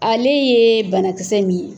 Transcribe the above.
Ale ye banakisɛ min ye.